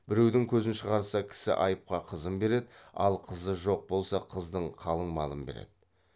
біреудің көзін шығарса кісі айыпқа қызын береді ал қызы жоқ болса қыздың қалыңмалын береді